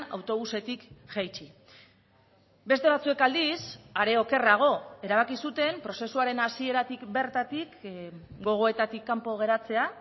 autobusetik jaitsi beste batzuek aldiz are okerrago erabaki zuten prozesuaren hasieratik bertatik gogoetatik kanpo geratzea